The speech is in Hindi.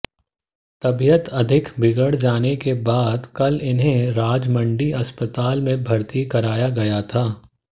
तबियत अधिक बिगड़ जाने के बाद कल इन्हें राजमंड्री अस्पताल में भर्ती कराया गया था